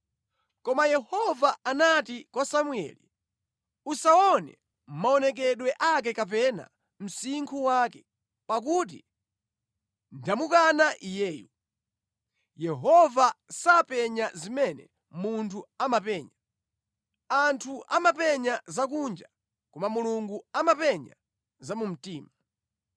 Koma Yehova anati kwa Samueli, “Usaone maonekedwe ake kapena msinkhu wake, pakuti ndamukana iyeyu. Yehova sapenya zimene munthu amapenya. Anthu amapenya zakunja, koma Mulungu amapenya za mu mtima.”